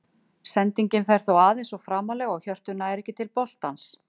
Sendingin fer þó aðeins of framarlega og Hjörtur nær ekki til boltans.